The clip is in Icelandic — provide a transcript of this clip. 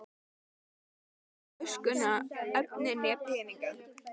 Hann fékk þó hvorki töskuna, efnið né peninga.